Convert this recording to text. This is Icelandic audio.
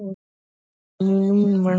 Hversvegna er hann að meiða mig?